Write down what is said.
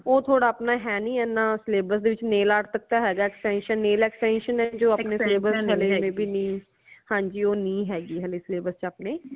ਉਹ ਥੋੜਾ ਅਪਣਾ ਹੈ ਨੀ ਏਨਾ syllabus ਦੇ ਵਿਚ nail art ਤਕ ਤੇ ਹੈਗਾ extension nail extension ਹੈ ਜੋ ਅਪਨੇ syllabus ਚ ਹੈ ਨੀ ਹਾਂਜੀ ਉਹ ਨੀ ਹੈਗੀ ਹਾਲੇ syllabus ਚ ਅਪਨੇ